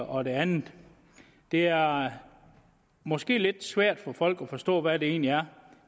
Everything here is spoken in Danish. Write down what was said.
og det andet det er måske lidt svært for folk at forstå hvad det egentlig er